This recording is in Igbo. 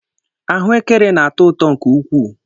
Ahụekere na-atọ ụtọ nke ukwuu.